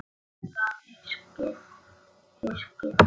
Meira hyskið!